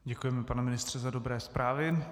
Děkujeme, pane ministře, za dobré zprávy.